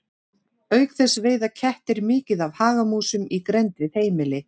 Auk þess veiða kettir mikið af hagamúsum í grennd við heimili.